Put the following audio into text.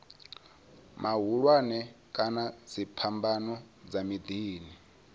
mahulwane kana dziphambano dza miḓini